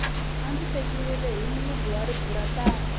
a ndzi tekiwile hi mulungu wa riburantani